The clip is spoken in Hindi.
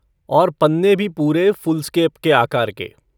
और पन्ने भी पुरे फ़ुल्सकेप के आकार के।